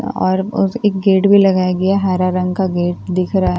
और एक गेट भी लगाया गया है हरा रंग का गेट देख रहा है।